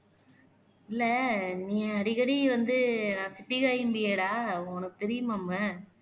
இல்ல நீ அடிக்கடி வந்து நான் உனக்கு தெரியுமாமே